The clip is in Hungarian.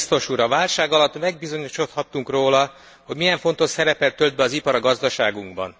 Tisztelt biztos úr! A válság alatt megbizonyosodhattunk róla, hogy milyen fontos szerepet tölt be az ipar a gazdaságunkban.